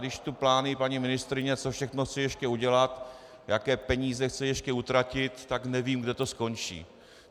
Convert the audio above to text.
Když čtu plány paní ministryně, co všechno chce ještě udělat, jaké peníze chce ještě utratit, tak nevím, kde to skončí.